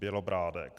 Bělobrádek.